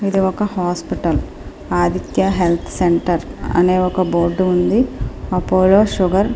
ఇది ఒక hospital Aditya health centre అనే ఒక బోర్డు ఉంది. Apollo sugar --